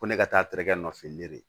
Ko ne ka taa tereke fin